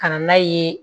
Ka na n'a ye